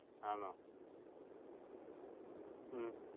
ആന്നോ? ഹും